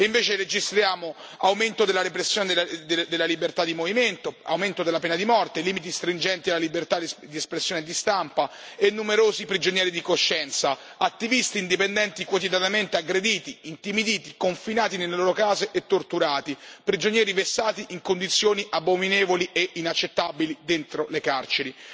Invece registriamo l'aumento della repressione della libertà di movimento, l'aumento della pena di morte, limiti stringenti alla libertà di espressione e di stampa e numerosi prigionieri di coscienza, attivisti indipendenti quotidianamente aggrediti, intimiditi, confinati nelle loro case e torturati, prigionieri vessati in condizioni abominevoli e inaccettabili dentro le carceri.